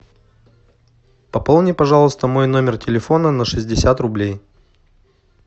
пополни пожалуйста мой номер телефона на шестьдесят рублей